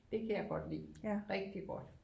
Det kan jeg godt lide rigtig godt